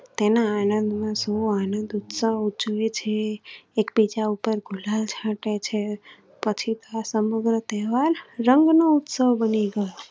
તેના આનંદ માં સુ આનંદ ઉત્સવ ઉજવે છે. એકબીજા ઉપર ગુલાલ ચાટે છે. પછી તસમગ્ર તહેવાર રંગો નો ઉત્સવ બની ગયો.